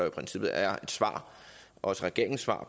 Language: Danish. i princippet er et svar også regeringens svar